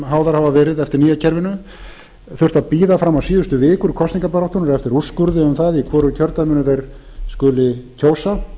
háðar hafa verið eftir nýja kerfinu þurft að bíða fram á síðustu vikur kosningabaráttunnar eftir úrskurði um það í hvoru kjördæminu þeir skuli kjósa